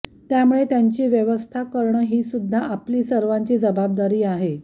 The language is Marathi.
त्यामुळे त्यांची व्यवस्था करणं हीसुदधा आपली सर्वांची जबाबदारी आहे